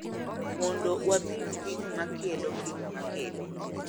Mondo wapim gik ma kelo, gik ma kelo,